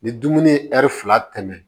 Ni dumuni ye fila tɛmɛna